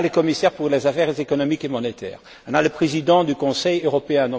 On a les commissaires pour les affaires économiques et monétaires, on a le Président du Conseil européen.